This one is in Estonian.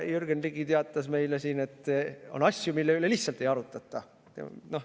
Jürgen Ligi teatas meile siin, et on asju, mille üle lihtsalt ei arutleta.